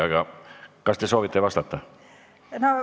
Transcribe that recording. Aga kas te soovite vastata?